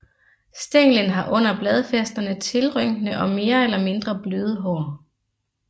Stænglen har under bladfæsterne tiltrykne og mere eller mindre bløde hår